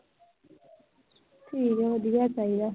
ਠੀਕ ਆ ਵਧੀਆ ਚਾਹੀਦਾ।